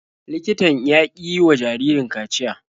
Likitan ya ƙi yiwa jaririn kaciya.